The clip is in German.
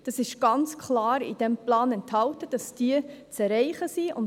Es ist ganz klar in diesem Plan enthalten, dass diese zu erreichen sind.